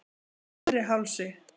Neðri Hálsi